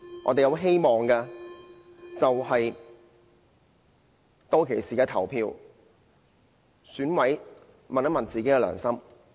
我們希望的是，當選委投票時，問一問自己的良心。